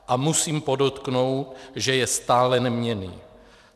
A musím podotknout, že je stále neměnný.